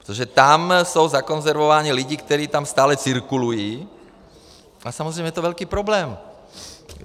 Protože tam jsou zakonzervováni lidi, kteří tam stále cirkulují, a samozřejmě je to velký problém.